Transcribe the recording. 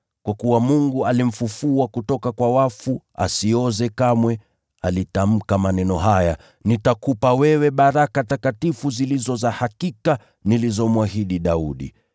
Kwa kuwa Mungu alimfufua kutoka kwa wafu asioze kamwe, alitamka maneno haya: “ ‘Nitakupa wewe baraka takatifu zilizo za hakika nilizomwahidi Daudi.’